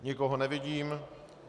Nikoho nevidím.